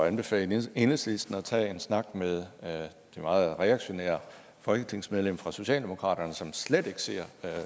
anbefale enhedslisten at tage en snak med det meget reaktionære folketingsmedlem fra socialdemokraterne som slet ikke ser